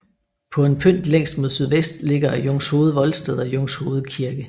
På en pynt længst mod sydvest ligger Jungshoved Voldsted og Jungshoved Kirke